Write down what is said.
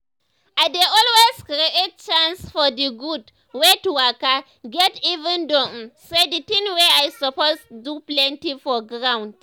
i dey always create chance for d gud wey to waka get even though um say d things wey i suppose do plenty for ground.